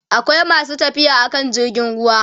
akwai masu tafiya akan jirgin ruwa